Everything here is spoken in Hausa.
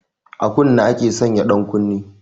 A kunne ake sanya ɗankunne